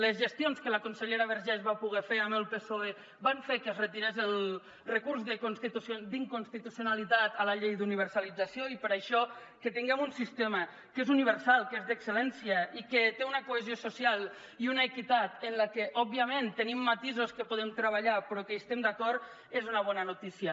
les gestions que la consellera vergés va poder fer amb el psoe van fer que es retirés el recurs d’inconstitucionalitat a la llei d’universalització i per això que tinguem un sistema que és universal que és d’excel·lència i que té una cohesió social i una equitat en la que òbviament tenim matisos que podem treballar però en què estem d’acord és una bona notícia